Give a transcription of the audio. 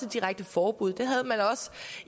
direkte forbud det havde man også